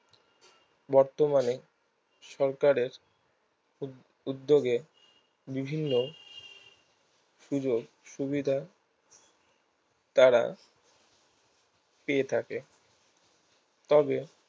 বর্তমানে সরকারের উদ উদ্যোগে বিভিন্ন সুযোগ সুবিধা দ্বারা পেয়ে থাকে তবে